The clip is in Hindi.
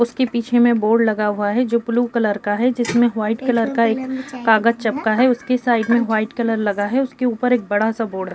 उसकी पीछे में बोर्ड लगा हुआ हैं जो ब्लू कलर का है जिसमे व्हाइट कलर का एक कागज़ चपका हैं। उसके साइड में व्हाइट कलर लगा है। उसके ऊपर एक बड़ा सा बोर्ड है।